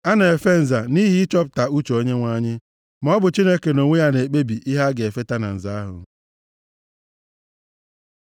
A na-efe nza, nʼihi ịchọpụta uche Onyenwe anyị, maọbụ Chineke nʼonwe ya na-ekpebi ihe a ga-efeta na nza ahụ.